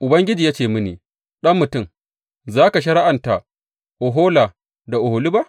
Ubangiji ya ce mini, Ɗan mutum, za ka shari’anta Ohola da Oholiba?